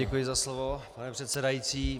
Děkuji za slovo, pane předsedající.